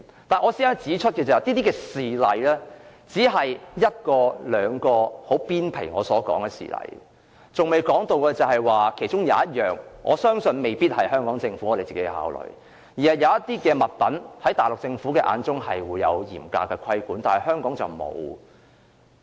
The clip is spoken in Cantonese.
但是，我想指出的是，上述這些事例只屬皮毛，還未觸及一項我相信未必可由香港政府自行考慮的問題，那就是對於某些物品，內地政府有嚴格的規管，香港則沒有。